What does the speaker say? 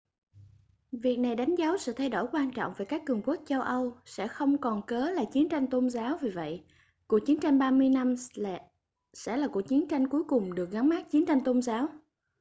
việc này đánh dấu sự thay đổi quan trọng vì các cường quốc châu âu sẽ không còn cớ là chiến tranh tôn giáo vì vậy cuộc chiến tranh ba mươi năm sẽ là cuộc chiến cuối cùng được gắn mác chiến tranh tôn giáo